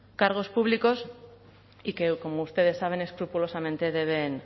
cargos públicos y que como ustedes saben escrupulosamente deben